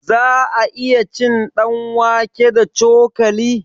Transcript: Za'a iya cin ɗanwake da cokali?